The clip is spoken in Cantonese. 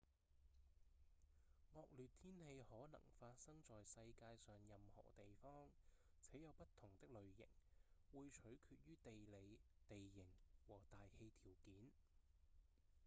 惡劣天氣可能發生在世界上任何地方且有不同的類型會取決於地理、地形和大氣條件